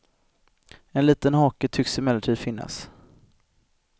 En liten hake tycks emellertid finnas.